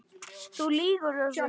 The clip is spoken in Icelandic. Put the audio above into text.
Þú lýgur þessu!